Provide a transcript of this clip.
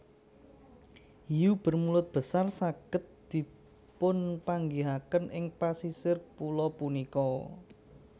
Hiu bermulut besar saged dipunpanggihaken ing pasisir pulo punika